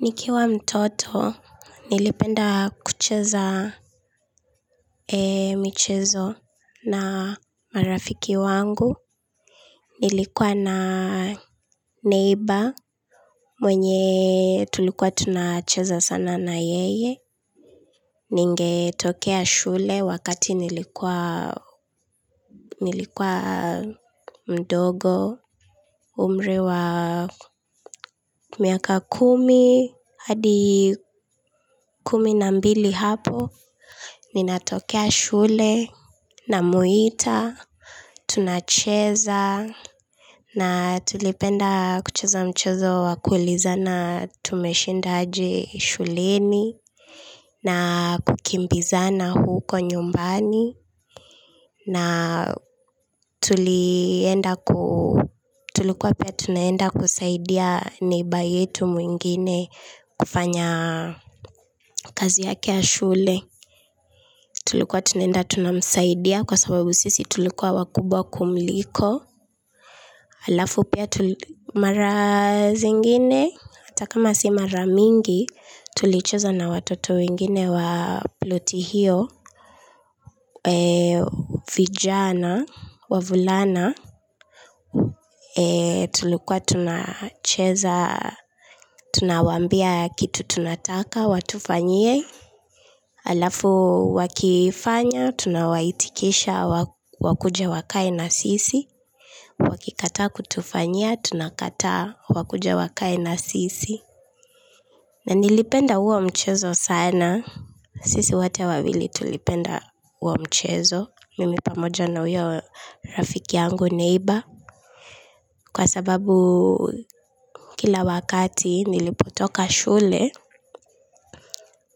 Nikiwa mtoto, nilipenda kucheza michezo na marafiki wangu. Nilikuwa na neighbor mwenye tulikuwa tunacheza sana na yeye. Ningetokea shule wakati nilikuwa mdogo, umri wa miaka kumi, hadi kumi na mbili hapo. Ninatokea shule, namuita, tunacheza na tulipenda kucheza mchezo wakuulizana tumeshinda aje shuleni na kukimbizana huko nyumbani na tulikua pia tunaenda kusaidia neighbor yetu mwingine kufanya kazi yake ya shule. Tulikuwa tunaenda tunamsaidia kwa sababu sisi tulikuwa wakubwa kumliko. Halafu pia mara zingine hata kama si maramingi tulicheza na watoto wengine wa ploti hio vijana, wavulana. Tulikuwa tunacheza, tunawaambia kitu tunataka watufanyie halafu wakifanya, tunawaitikisha wakuja wakae na sisi, wakikataa kutufanyia, tunakata wakuja wakae na sisi na nilipenda huo mchezo sana sisi wote wavili tulipenda huo mchezo. Mimi pamoja na huyo rafiki yangu neighbor. Kwa sababu kila wakati nilipotoka shule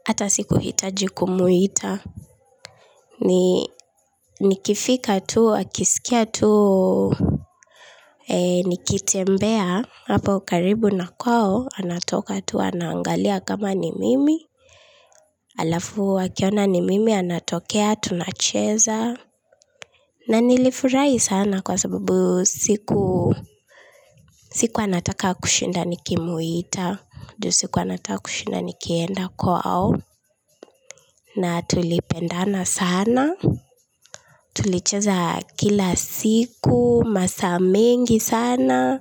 hata sikuhitaji kumuita. Nikifika tu, akisikia tu, nikitembea hapo karibu na kwao, anatoka tu, anaangalia kama ni mimi halafu wmakiona ni mimi, anatokea, tunacheza na nilifurahi sana kwa sababu sikuwa nataka kushinda nikimuita ju sikuwa nataka kushinda nikienda kwao na tulipendana sana. Tulicheza kila siku, masaa mengi sana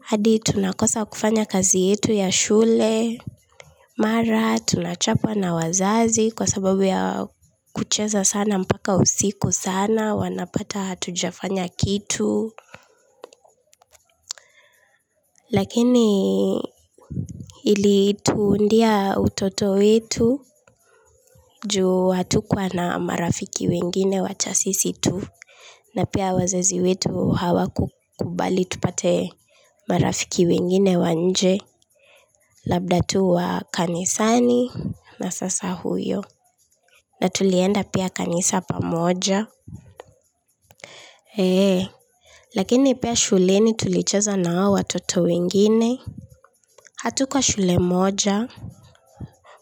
hadi tunakosa kufanya kazi yetu ya shule mara, tunachapwa na wazazi kwa sababu ya kucheza sana mpaka usiku sana wanapata hatujafanya kitu lakini ilituundia utoto wetu ju hatukuwa na marafiki wengine wacha sisi tu na pia wazizi wetu hawakukubali tupate marafiki wengine wa nje. Labda tu wa kanisani na sasa huyo. Na tulienda pia kanisa pamoja lakini pia shuleni tulicheza na hao watoto wengine. Hatukuwa shule moja.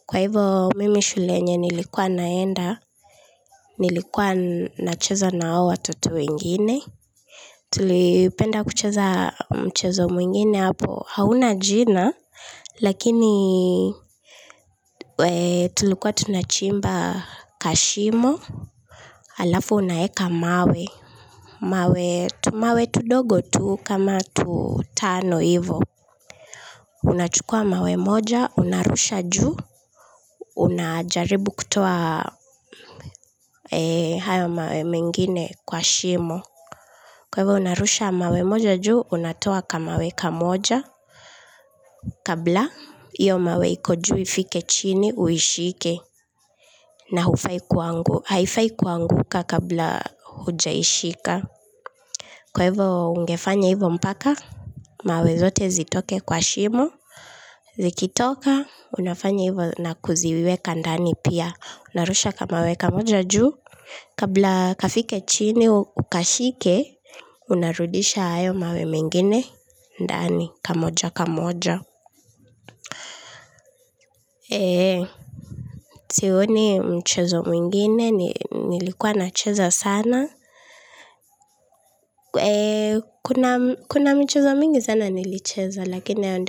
Kwa hivo mimi shule yenye nilikuwa naenda nilikuwa nacheza na hao watoto wengine. Tulipenda kucheza mchezo mwingine hapo hauna jina lakini tulikuwa tunachimba kashimo halafu unaweka mawe, tumawe tudogo tu kama tutano hivo. Unachukua mawe moja, unarusha juu, unajaribu kutoa hayo mawe mingine kwa shimo. Kwa hivyo unarusha mawe moja juu, unatoa kamawe kamoja kabla iyo mawe iko juu ifike chini uishike na haifai kuanguka kabla hujaishika kwa hivo ungefanya hivyo mpaka mawe zote zitoke kwa shimo. Zikitoka unafanya hivyo na kuziweka ndani pia. Unarusha kamawe kamoja juu kabla kafike chini ukashike. Unarudisha hayo mawe mengine ndani kamoja kamoja sioni mchezo mwingine nilikuwa nacheza sana kuna michezo mingu sana nilicheza, lakini.